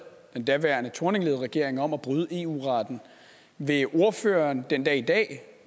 den daværende thorningledede regering om at bryde eu retten vil ordføreren den dag i dag